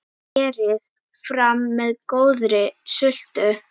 Berið fram með góðri sultu.